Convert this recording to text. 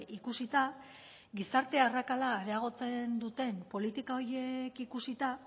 ikusita gizarte arrakala areagotzen duten politika horiek ikusita